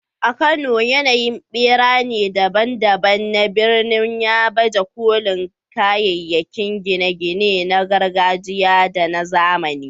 A Kano, yanayin birane daban-daban na birnin ya baje kolin kayayyakin gine-gine na gargajiya da na zamani.